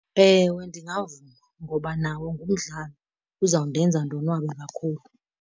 Ewe ndingavuma, ngoba nawo ngumdlalo. Uzawundenza ndonwabe kakhulu.